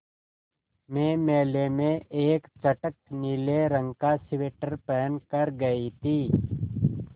मैं मेले में एक चटख नीले रंग का स्वेटर पहन कर गयी थी